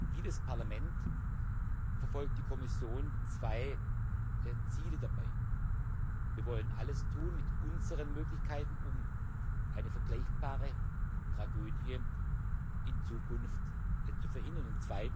Wie das Parlament verfolgt die Kommission zwei Ziele dabei Wir wollen alles tun mit unseren Möglichkeiten, um eine vergleichbare Tragödie in Zukunft zu verhindern.